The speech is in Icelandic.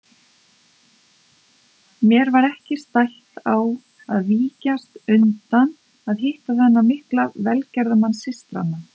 Mér var ekki stætt á að víkjast undan að hitta þennan mikla velgerðamann systranna.